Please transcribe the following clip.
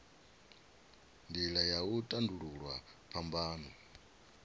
nila ya u tandululwa phambano